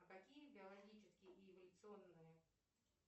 а какие биологические и эволюционные